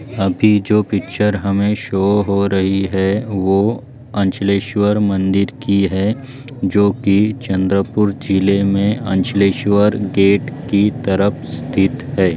अभी जो पिक्चर हमे शो हो रही है वो अंचलेश्वर मंदिर की है जो चंद्रपूर जिल्हे मे अंचलेश्वर गेट की तरफ स्थित हैं।